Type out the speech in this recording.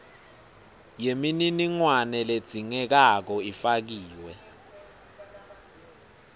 yemininingwane ledzingekako ifakiwe